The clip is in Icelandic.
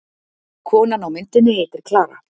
Konan á myndinni heitir Klara.